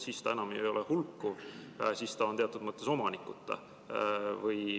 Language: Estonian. Siis ta enam ei ole hulkuv, siis ta on teatud mõttes omanikuta.